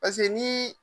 Paseke ni